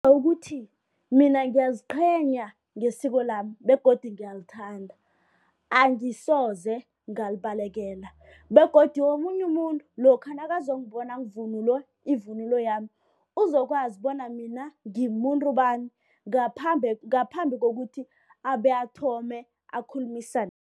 Ukuthi mina ngiyaziqhenya ngesiko lami begodu ngiyalithanda angisoze ngalibalekela begodu omunye umuntu lokha nakazongibona ngivunule ivunulo yami. Uzokwazi bona mina ngimumuntu bani ngaphambi kokuthi abe athome akhulumisane.